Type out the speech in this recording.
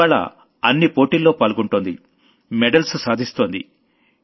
ఇవ్వాళ్ల అన్వీ కాంపిటీషన్లలో పాల్గొంటోంది మెడల్స్ సాధిస్తోంది